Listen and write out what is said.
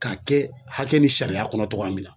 K'a kɛ hakɛ ni sariya kɔnɔ cogoya min na